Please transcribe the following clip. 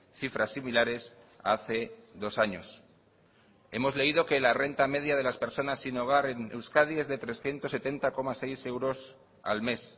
cifras similares a hace dos años hemos leído que la renta media de las personas sin hogar en euskadi es de trescientos setenta coma seis euros al mes